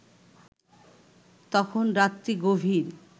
তখন রাত্রি গভীর